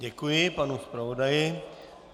Děkuji panu zpravodaji.